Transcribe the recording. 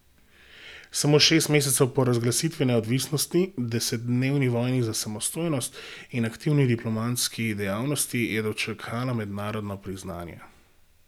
Samo šest mesecev po razglasitvi neodvisnosti, desetdnevni vojni za samostojnost in aktivni diplomatski dejavnosti je dočakala mednarodno priznanje.